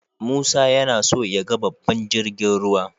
Musa yana so yaga babban jirgin ruwa.